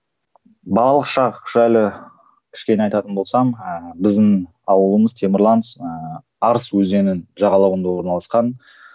балалық шақ жайлы кішкене айтатын болсам ыыы біздің ауылымыз темірлан ыыы арыс өзенінің жағалауында орналасқан